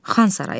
Xan sarayı.